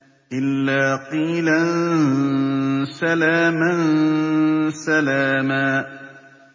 إِلَّا قِيلًا سَلَامًا سَلَامًا